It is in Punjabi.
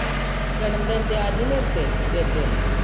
ਜਨਮਦਿਨ ਤੇ ਆਜੀਂ ਮੇਰੇ ਤੇ, ਚੇਤੇ ਨਾਲ।